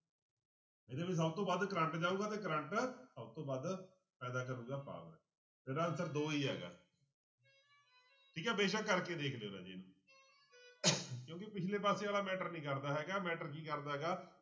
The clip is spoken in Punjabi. ਇਹਦੇ ਵਿੱਚ ਸਭ ਤੋਂ ਵੱਧ ਕਰੰਟ ਜਾਊਗਾ ਤੇ ਕਰੰਟ ਸਭ ਤੋਂ ਵੱਧ ਪੈਦਾ ਕਰੇਗਾ power ਇਹਦਾ answer ਦੋ ਹੀ ਹੈਗਾ ਠੀਕ ਹੈ ਬੇਸਕ ਕਰਕੇ ਦੇਖ ਲਇਓ ਰਾਜੇ ਇਹਨੂੰ ਕਿਉਂਕਿ ਪਿੱਛਲੇ ਪਾਸੇ ਵਾਲਾ matter ਨੀ ਕਰਦਾ ਹੈਗਾ matter ਕੀ ਕਰਦਾ ਹੈਗਾ